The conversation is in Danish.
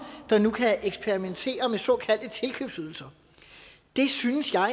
der nu kan eksperimentere med såkaldte tilkøbsydelser det synes jeg er